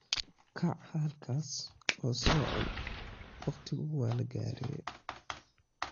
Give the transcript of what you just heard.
Kaac halkaas, oo so cun wakhtigu waa lagaree.